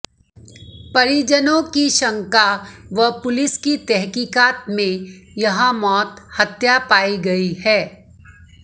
परिजनों की शंका व पुलिस की तहकीकात में यह मौत हत्या पाई गई है